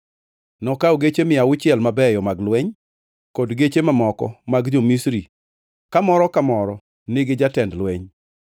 Nokawo geche mia auchiel mabeyo mag lweny, kod geche mamoko mag jo-Misri ka moro ka moro nigi jatend lweny.